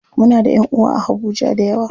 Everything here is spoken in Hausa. Muna da ƴanʼuwa a habuja dayawa.